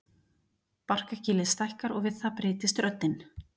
Barkakýlið stækkar og við það breytist röddin.